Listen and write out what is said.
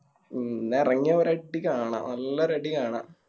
ഉം ഇന്നെറങ്ങിയ ഒരടി കാണാ നല്ലൊരടി കാണാ